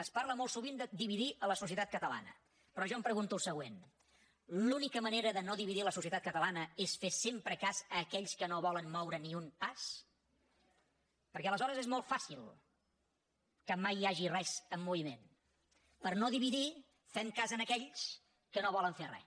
es parla molt sovint de dividir la societat catalana però jo em pregunto el següent l’única manera de no dividir la societat catalana és fer sempre cas a aquells que no volen moure ni un pas perquè aleshores és molt fàcil que mai hi hagi res en moviment per no dividir fem cas d’aquells que no volen fer res